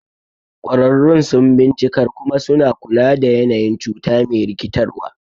Ƙwararrun sun bincikar kuma suna kula da yanayin cuta me rikitarwa.